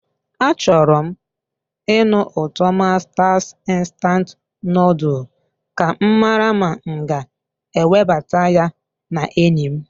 Achọrọ m ịnụ ụtọ masters instant noodle ka m mara ma m ga-ewebata ya na enyi m.